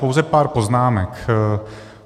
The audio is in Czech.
Pouze pár poznámek.